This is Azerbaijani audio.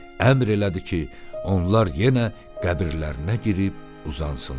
Əmr elədi ki, onlar yenə qəbirlərinə girib uzansınlar.